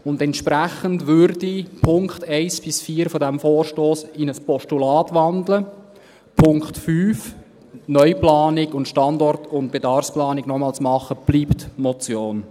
Und entsprechend würde ich die Punkte 1 bis 4 dieses Vorstosses in ein Postulat wandeln, der Punkt 5 – die Neuplanung sowie die Standort- und Bedarfsplanung noch einmal zu machen – bleibt Motion.